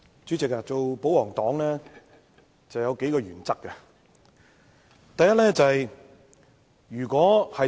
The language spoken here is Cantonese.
主席，當保皇黨有數個原則。